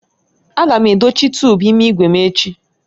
Aga m edochi tuubu ime igwe m echi.